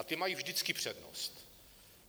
A ty mají vždycky přednost.